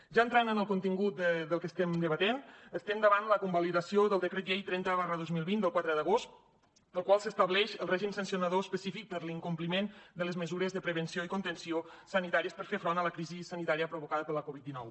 ja entrant en el contingut del que estem debatent estem davant la convalidació del decret llei trenta dos mil vint del quatre d’agost pel qual s’estableix el règim sancionador específic per l’incompliment de les mesures de prevenció i contenció sanitàries per fer front a la crisi sanitària provocada per la covid dinou